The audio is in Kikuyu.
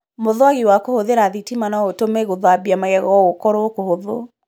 Mũthwagi wa kũhũthĩra thitima no ũtũme gũthambia magego gũkorũo kũhũthũ.